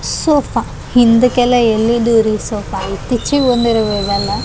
Sofa ಹಿಂದಿಕ್ಕೆಲ್ಲ ಎಲ್ಲಿದು ರೀ ಸೋಫ ಇತ್ತೀಚಿಗೆ ಬಂದಿರೂದು ಇದೆಲ್ಲ.